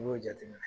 N y'o jateminɛ